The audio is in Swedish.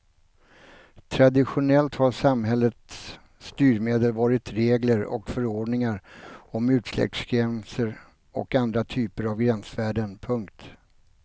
Traditionellt har samhällets styrmedel varit regler och förordningar om utsläppsgränser och andra typer av gränsvärden. punkt